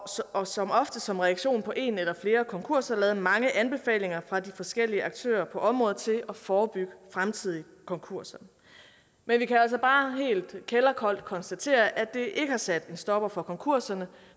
og som ofte som reaktion på en eller flere konkurser lavet mange anbefalinger fra de forskellige aktører på området til at forebygge fremtidige konkurser men vi kan altså bare helt kælderkoldt konstatere at det ikke har sat en stopper for konkurserne